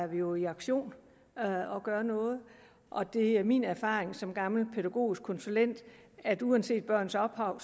vi jo i aktion og gør noget og det er min erfaring som gammel pædagogisk konsulent at uanset børns ophav